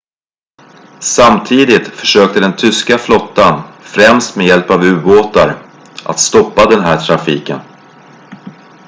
samtidigt försökte den tyska flottan främst med hjälp av u-båtar att stoppa den här trafiken